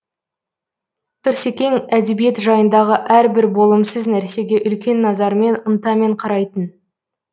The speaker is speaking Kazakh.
тұрсекең әдебиет жайындағы әр бір болымсыз нәрсеге үлкен назармен ынтамен қарайтын